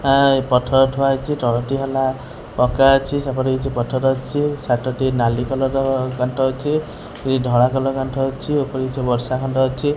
ପଥର ଏଠାରେ ଅଛି ତାଳଟି ପକ୍କା ଅଛି ସେପଟେ କିଛି ପଥର ଅଛି ସାର୍ଟ ଟି ନାଲି କଲର୍ ର ଗାଣ୍ଠ ଅଛି ବି ଧଳା କଲର୍ ର ଗାଣ୍ଠ ଅଛି ଉପରେ କିଛି ବର୍ଷା ଖଣ୍ଡ ଅଛି।